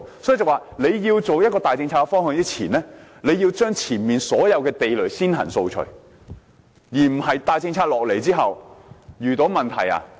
因此，政府在推出大政策之前，要將前面所有地雷先行掃除，而不是在大政策推出後才遇到問題。